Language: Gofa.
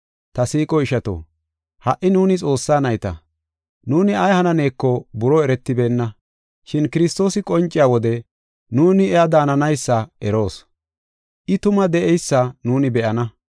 Ta siiqo ishato, ha77i nuuni Xoossaa nayta; nuuni ay hananeeko buroo eretibeenna. Shin Kiristoosi qonciya wode nuuni iya daananaysa eroos. I tuma de7eysa nuuni be7ana.